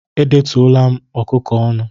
Edetụla m ọkụkọ ọnụ